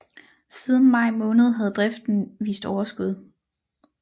Siden maj måned havde driften vist overskud